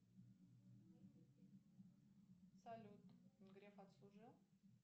салют греф отслужил